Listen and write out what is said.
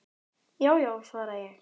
Já já, svara ég.